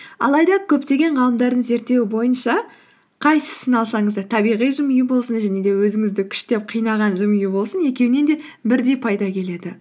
алайда көптеген ғалымдардың зерттеуі бойынша қайсысын алсаңыз да табиға жымию болсын және де өзіңізді күштеп қинаған жымию болсын екеуінен де бірдей пайда келеді